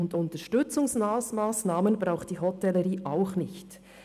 Und Unterstützungsmassnahmen braucht die Hotellerie auch nicht.